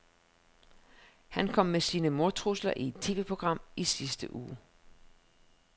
Han kom med sine mordtrusler i et TVprogram i sidste uge.